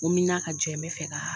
ka jɛn bɛɛ fɛ.